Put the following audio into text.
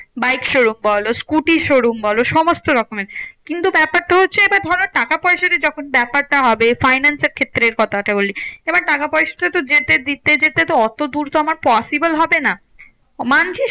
Bike showroom বলো, scooter showroom বলো সমস্ত রকমের। কিন্তু ব্যাপারটা হচ্ছে এইবার ধরো টাকা পয়সা যে যখন ব্যাপারটা হবে, finance এর ক্ষেত্রে কথাটা বলছি। এবার টাকা পয়সাটা তো যেতে দিতে যেতে তো অতদূর তো আমার possible হবে না। মানছি